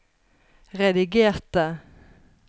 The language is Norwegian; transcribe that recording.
redigerte